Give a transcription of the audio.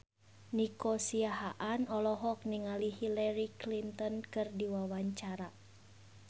Nico Siahaan olohok ningali Hillary Clinton keur diwawancara